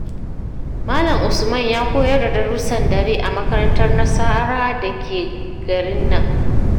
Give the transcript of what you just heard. Malam Usman ya koyar da darussan dare a makarantar Nasara da ke garin nan.